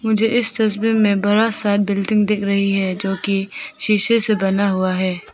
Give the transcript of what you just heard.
मुझे इस तस्वीर में बड़ा सा बिल्डिंग दिख रही है जो की शीशे से बना हुआ है।